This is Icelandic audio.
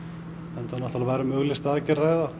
enda var um auglýsta aðgerð að ræða